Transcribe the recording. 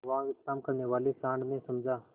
वहाँ विश्राम करने वाले सॉँड़ ने समझा